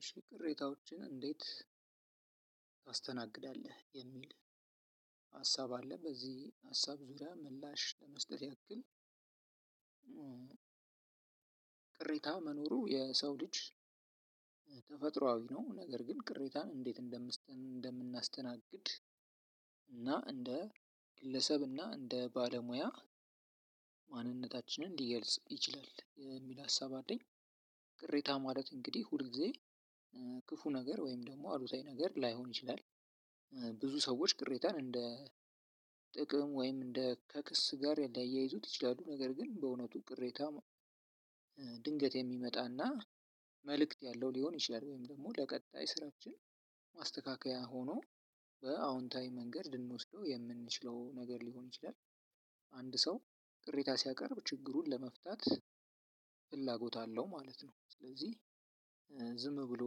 እሺ ቅሬታዎችን እንዴት? ታስተናግዳለህ የሚል ሀሳብ አለ በዚህ ሀሳብ ዙሪያ ምላሽ ለመስጠት ያክል ግን ቅሬታ መኖሩ የሰው ልጅ ተፈጥሮአዊ ነው። ነገር ግን ቅሬታን እንዴት እንደምን እንደምናስተናግድ እና እንደ ግለሰብ እና እንደ ባለሙያ ማንነታችንን ሊገልጽ ይችላል የሚል ሀሳብ አለኝ። ቅሬታ ማለት እንግዲህ ሁል ጊዜ ክፉ ነገር ወይም ደግሞ አሉታዊ ነገር ላይሆን ይችላል። ብዙ ሰዎች ቅሬታን እንደ ጥቅም ወይም እንደ ከክስ ጋር ሊያያይዙት ይችላሉ። ነገር ግን በእውነቱ ቅሬታ። ድንገት የሚመጣና መልእክት ያለው ሊሆን ይችላል ወይም ደግሞ ለቀጣይ ስራችን አስተካካይ ሆኖ በአዎንታዊ መንገድ ልንወስደው የምንችለው ነገር ሊሆን ይችላል። አንድ ሰው ቅሬታ ሲያቀርብ ችግሩን ለመፍታት ፍላጎት አለው ማለት ነው። ስለዚህ ዝም ብሎ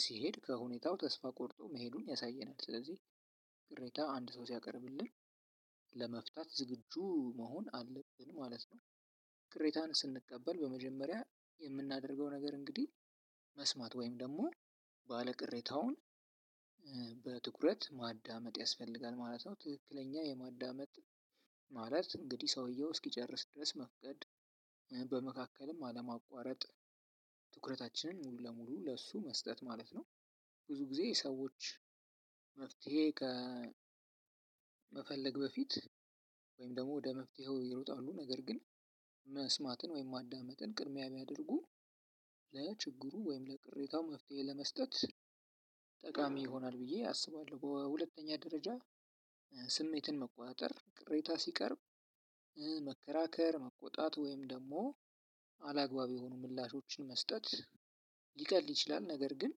ሲሄድ ከሁኔታው ተስፋ ቆርጦ መሄዱን ያሳየናል። ስለዚህ ቅሬታ አንድ ሰው ሲያቀርብልን ለመፍታት ዝግጁ መሆን አለብን ማለት ነው። ቅሬታን ስንቀበል በመጀመሪያ የምናደርገው ነገር እንግዲህ መስማት ወይም ደግሞ ባለቅሬታውን በትኩረት ማዳመጥ ያስፈልጋል ማለት ነው። ትክክለኛ የማዳመጥ ማለት እንግዲህ ሰውየው እስኪጨርስ ድረስ መፍቀድ በመካከልም አለማቋረጥ ትኩረታችንን ሙሉ ለሙሉ ለሱ መስጠት ማለት ነው። ብዙ ጊዜ ሰዎች መፍትሄ ከመፈለግ በፊት ወይም ደግሞ ወደ መፍትሄው ይሮጣሉ ነገር ግን መስማትን ወይም ማዳመጥን ቅድሚያ ቢያደርጉ ለችግሩ ወይም ለቅሬታው መፍትሄ ለመስጠት ጠቃሚ ይሆናል ብዬ አስባለሁ። በሁለተኛ ደረጃ ስሜትን መቆጣጠር ቅሬታ ሲቀርብ መከራከር መቆጣት ወይም ደግሞ አላግባብ የሆኑ ምላሾችን መስጠት ሊቀልድ ይችላል። ነገር ግን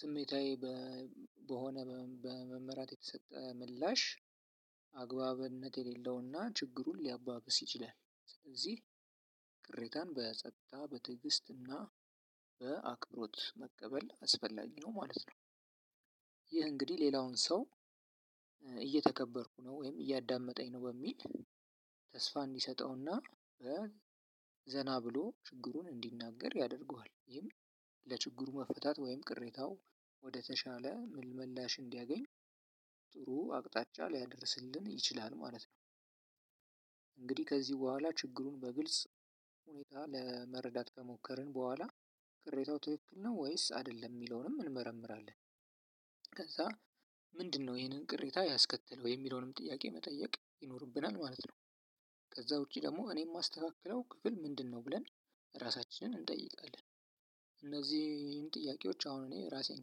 ስሜታዊ በሆነ በመመራት የተሰጠ ምላሽ አግባብነት የሌለውና ችግሩን ሊያባብስ ይችላል ስለዚህ ቅሬታን በጸጥታ በትዕግስትና በአክብሮት መቀበል አስፈላጊ ነው ማለት ነው። ይህ እንግዲህ ሌላውን ሰው እየተከበርኩ ነው ወይም እያዳመጠኝ ነው በሚል ተስፋ እንዲሰጠውና ዘና ብሎ ችግሩን እንዲናገር ያደርገዋል። ይህም ለችግሩ መፈታት ወይም ቅሬታው ወደተሻለ ምላሽ እንዲያገኝ ጥሩ አቅጣጫ ሊያደርስልን ይችላል ማለት ነው። እንግዲህ ከዚህ በኋላ ችግሩን በግልጽ ሁኔታ ለመረዳት ከሞከርን በኋላ ክሬታው ትክክል ነው ወይስ አይደለም የሚለውንም እንመረምራለን። ከዛ ምንድነው ይሄንን ቅሬታ ያስከተለው የሚለውንም ጥያቄ መጠየቅ ይኖርብናል። ማለት ነው። ከዛ ውጪ ደግሞ እኔ የማስተካክለው ክፍል ምንድነው? ብለን ራሳችንን እንጠይቃለን። እነዚህን ጥያቄዎች አሁን እኔ ራሴን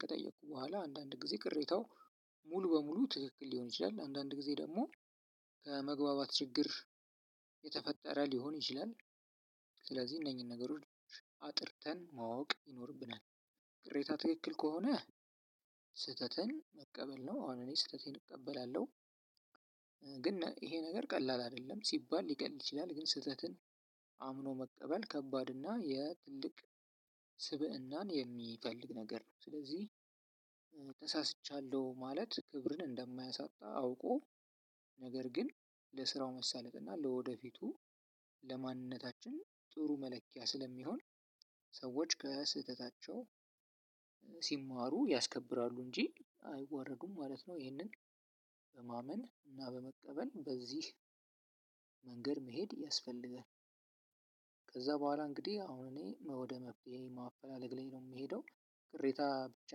ከጠየኩ በኋላ አንዳንድ ጊዜ ቅሬታው ሙሉ በሙሉ ትክክል ሊሆን ይችላል። አንዳንድ ጊዜ ደግሞ መግባባት ችግር የተፈጠረ ሊሆን ይችላል። ስለዚህ እነኚህን ነገሮች አጥርተን ማወቅ ይኖርብናል። ቅሬታ ትክክል ከሆነ ስህተትን መቀበል ነው አሁን እኔ ስህተቴን እቀበላለሁ። ግን ይሄ ነገር ቀላል አይደለም ሲባል ሊቀል ይችላል። ግን ስህተትን አምኖ መቀበል ከባድ እና የትልቅ ስብእናን የሚፈልግ ነገር ነው። ስለዚህ ተሳስቻለሁ ማለት ክብርን እንደማያሳጣ አውቆ ነገር ግን ለስራው መሳለጥ እና ለወደፊቱ ለማንነታችን ጥሩ መለኪያ ስለሚሆን ሰዎች ከስህተታቸው ሲማሩ ያስከብራሉ እንጂ አይዋረዱም ማለት ነው። ይሄንን በማመን እና በመቀበል በዚህ መንገድ መሄድ ያስፈልገናል። ከዛ በኋላ እንግዲህ አሁን እኔ ወደ መፍትሄ ማፈላለግ ላይ ነው የምሄደው። ቅሬታ ብቻ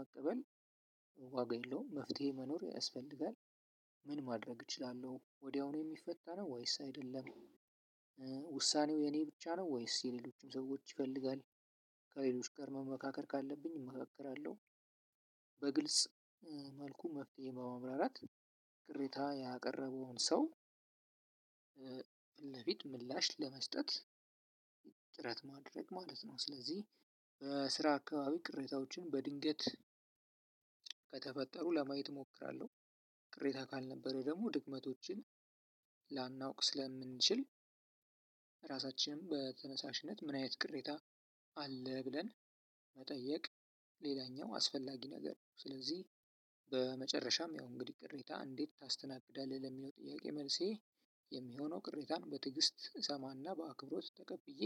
መቀበል ዋጋ የለውም። መፍትሄ መኖር ያስፈልጋል ምን ማድረግ እችላለሁ ወዲያውኑ የሚፈታ ነው ወይስ አይደለም? ውሳኔው የኔ ብቻ ነው ወይስ የሌሎችም ሰዎች ይፈልጋል? ከሌሎች ጋር መመካከር ካለብኝ እመካከራለሁ። በግልጽ መልኩ መፍትሄ በመብራራት ቅሬታ ያቀረበውን ሰው ለፊት ምላሽ ለመስጠት ጥረት ማድረግ ማለት ነው። ስለዚህ ስራ አካባቢ ቅሬታዎችን በድንገት ከተፈጠሩ ለማየት እሞክራለሁ። ቅሬታ ካልነበረ ደግሞ ድክመቶችን ላናውቅ ስለምንችል ራሳችንን በተነሳሽነት ምን አይነት ቅሬታ አለ ብለን መጠየቅ ሌላኛው አስፈላጊ ነገር ነው። ስለዚህ በመጨረሻም ያው እንግዲህ ቅሬታ እንዴት ታስተናግዳለህ? ለሚለው ጥያቄ መልሴ የሚሆነው ቅሬታን በትግስት እሰማና በአክብሮት ተቀብዬ።